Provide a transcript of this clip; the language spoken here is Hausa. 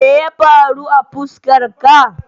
Meye faru a fuskar ka?